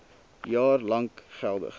jaar lank geldig